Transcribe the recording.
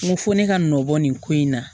N ko fo ne ka nɔbɔ nin ko in na